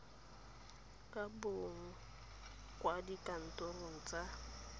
ka bonwa kwa dikantorong tsa